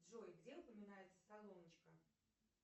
джой где упоминается солоночка